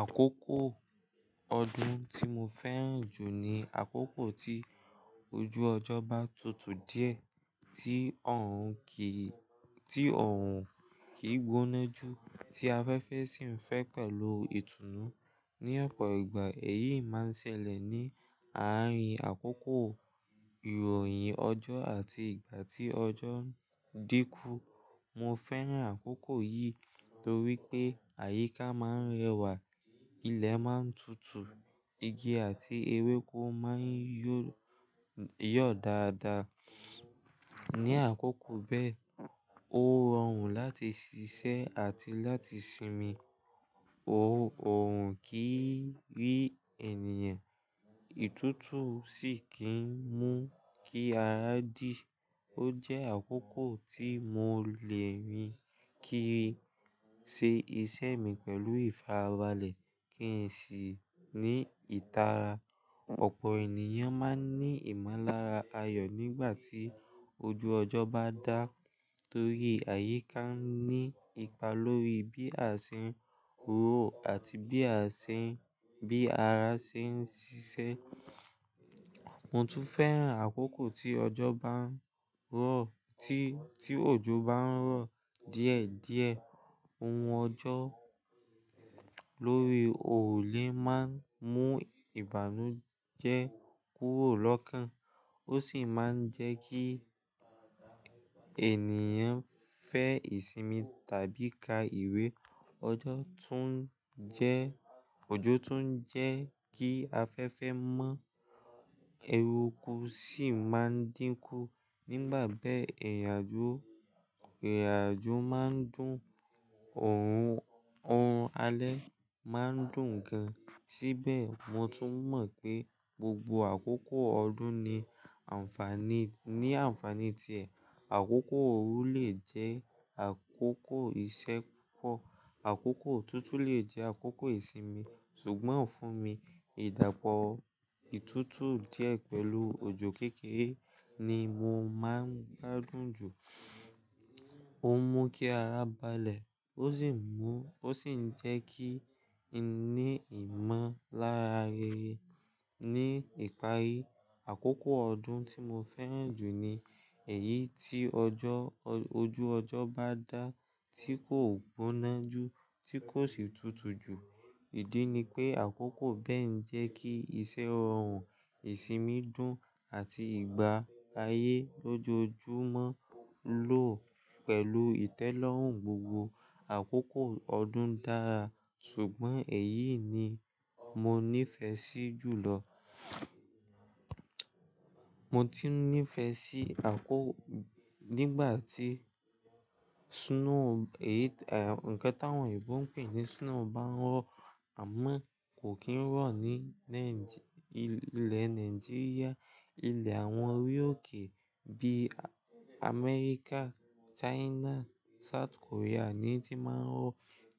Àkókò ọdún tí mo fẹ́ràn jù ni àkókò tí ojú ọjọ́ bá tutù díẹ̀, tí ọ̀hún kì í, tí ọ̀hún kì í gboná jù, tí afẹ́fẹ́ sì ń fẹ́ pẹ̀lú ìtùnú. Ni ọ̀pọ̀ ìgbà, èyí máa ń ṣẹlẹ̀ ní àárín àkókò ìròyìn ọjọ́ àti ìgbà tí ọjọ́ ń dínkú. Mo fẹ́ràn àkókò yìí torí pé àyíká máa ń rẹwà, ilẹ̀ máa ń tutù, igi àti ewéko máa ń yó, yọ̀ dáadáa. Ní àkókò bẹ́ẹ̀, ó rọrùn láti ṣiṣẹ́ àti láti sinmi. Oòrùn kì í rí ènìyàn, ìtútù sì kì í mú kí ara dí. Ó jẹ́ àkókò tí mo lè rí ki ṣe iṣẹ́ mi pẹ̀lú ìfarabalẹ̀ kí n sì ní ìtara. Ọ̀pọ̀ ènìyàn máa ń ní ìmọ̀lára ayọ̀ nígbà tí ojú ọjọ́ bá dá torí àyíká ní ipa lórí bí a ṣe ń ró àti bí a ṣe ń, bí ara ṣe ń ṣiṣẹ́. Mo tún fẹ́ràn àkókò tí ọjọ́ bá ń rọ̀, tí, tí òjò bá ń rọ̀ díẹ̀ díẹ̀. Ohun ọjọ́ lórí òòlè máa ń mú ìbànújẹ́ kúrò lọ́kàn. Ó sì máa ń jẹ́ kí ènìyàn fẹ́ ìsinmi tàbí ka ìwé. Ọjọ́ tún jẹ́, òjò tún jẹ́ kí afẹ́fẹ́ mọ́, ewéko sì máa ń dínkú. Nígbà bẹ́ẹ̀, ìrìnàjò, ìrìnàjò máa ń dùn, òòrùn, oòrùn alẹ́ máa ń dùn gan. Síbẹ̀, mo tún mọ̀ pé gbogbo àkókò ọdún ní àǹfàní, ní àǹfàní ti ẹ̀. Àkókò ooru lè jẹ́ àkókò ìṣẹ́kọ́, àkókò tútù lè jẹ́ àkókò ìsinmi. Ṣùgbọ́n fún mi, ìdápọ̀ ìtútù díẹ̀ pẹ̀lú òjò kékeré ni mo máa ń gbádùn jù. Ó mú kí ara balẹ̀, ó sì mú, ó sì ń jẹ́ kí n ní ìmọ̀lára rere. Ní ìparí, àkókò ọdún tí mo fẹ́ràn jù ni èyí tí ọjọ́, ojú ọjọ́ bá dá tí kò gboná jù, tí kò sì tutù jù. Ìdí ni pé àkókò bẹ́ẹ̀ ń jẹ́ kí iṣẹ́ rọrùn, ìsinmi dùn àti ìgbà ayé lójoojúmọ́ lò pẹ̀lú ìtẹ́lọ́rùn. Gbogbo àkókò ọdún dára, ṣùgbọ́n èyí ni mo níìfẹ̀ẹ́ sí jù lọ. Mo tún níìfẹ̀ẹ́ sí àkókò nígbà tí snow, èyí ta-- ǹkan tí àwọn òyìnbó ń pè ní snow bá ń rọ̀. Àmọ́ kò kì í rọ̀ ní Naìjí, ilẹ̀ Nàìjíríà. Ilẹ̀ àwọn orí ókè bí i Amẹ́ríkà, China, South Korea ni tí máa ń rọ̀.